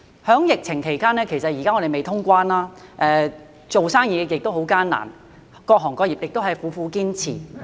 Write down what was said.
在疫情期間，現時還未通關，做生意也很艱難，各行各業亦苦苦堅持。